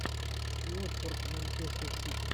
уотфорд манчестер сити